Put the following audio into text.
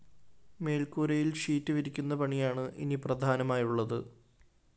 മേല്‍ക്കൂരയില്‍ sheet വിരിക്കുന്ന പണിയാണ് ഇനി പ്രധാനമായുള്ളത്